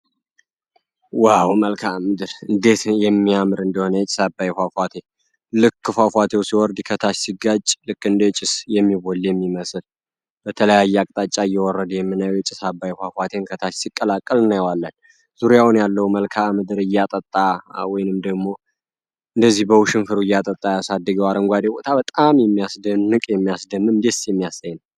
ዋው! መልካም እንዴት የሚያምር የጭስ አባይ ፏፏቴ ልክ ፏፏቴው ሲወርድ ከታች ሲጋጭ ልክ እንደ ጭስ የተለያዩ አቅጣጫ የወረደ የምናየው ፏፏቴ አባይ ዙሪያውን ያለውን እያጠጣ እንደዚህ ደግሞ በውሽንፈሩ እያጠጣ ያሳደገው አረንጓዴ ቦታ በጣም የሚያምር የሚያስደንቅ የሚያስደንም ነው።